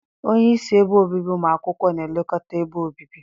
Onyeisi ebe obibi ụmụ akwụkwọ na-elekọta ebe obibi.